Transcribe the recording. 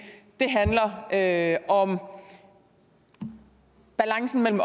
da at om balancen mellem